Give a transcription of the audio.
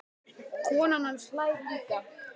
Konan hans hlær líka.